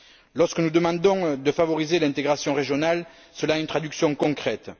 Lorsque nous demandons de favoriser l'intégration régionale, cela a une traduction concrète.